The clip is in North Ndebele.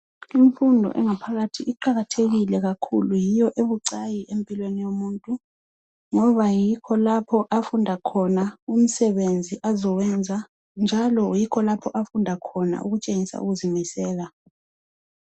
imfundo yangaphakathi iqhakathekile kakhulu yiyo ebucaki empilweni yomutntu ngoba yikho lapha afund khona imisebenzi azowenza njalo yikho lapho afunda khona ukutshengisela ukuzimisela